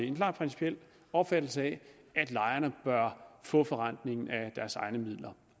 en klar principiel opfattelse af at lejerne bør få forrentningen af deres egne midler